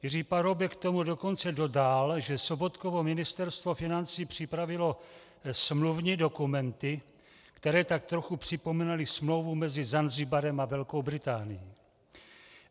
Jiří Paroubek k tomu dokonce dodal, že Sobotkovo ministerstvo financí připravilo smluvní dokumenty, které tak trochu připomínaly smlouvu mezi Zanzibarem a Velkou Británií.